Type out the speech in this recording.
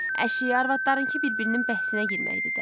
Əşi, arvadlarınkı bir-birinin bəhsinə girməkdi də.